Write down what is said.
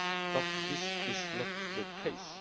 But this is not the case.